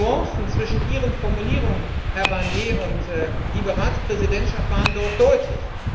Die Nuancen zwischen Ihren Formulierungen, Herr Barnier und liebe Ratspräsidentschaft, waren dort deutlich.